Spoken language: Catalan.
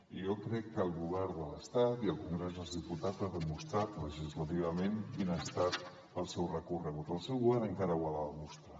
i jo crec que el govern de l’estat i el congrés dels diputats han demostrat legislativament quin ha estat el seu recorregut el seu govern encara ho ha de demostrar